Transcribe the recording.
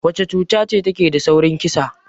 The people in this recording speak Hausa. Wacce cuta ce take da saurin kissa?